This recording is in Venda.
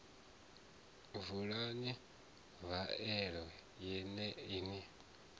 vulani faela ye na i